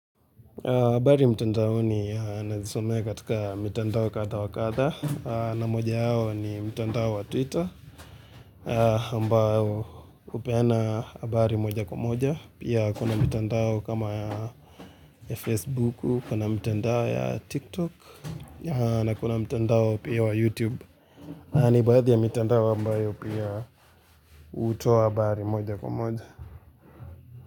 Habari mtandaoni ninazisomea katika mitandao kadha wa kadha, na moja yao ni mtandao wa Twitter, ambao hupeana habari moja kwa moja, pia kuna mtandao kama ya Facebook, kuna mtandao ya TikTok, na kuna mtandao pia wa YouTube, ni baadhi ya mitandao ambayo pia hutoa habari moja kwa moja.